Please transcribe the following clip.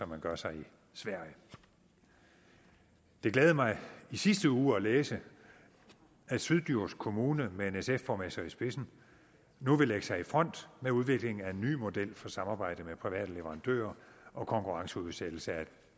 man gør sig i sverige det glædede mig i sidste uge at læse at syddjurs kommune med en sf borgmester i spidsen nu vil lægge sig i front med udviklingen af en ny model for samarbejde med private leverandører og konkurrenceudsættelse af et